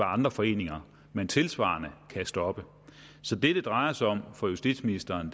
andre foreninger man tilsvarende kan stoppe så det det drejer sig om for justitsministeren